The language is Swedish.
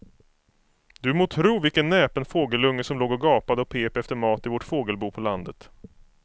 Du må tro vilken näpen fågelunge som låg och gapade och pep efter mat i vårt fågelbo på landet.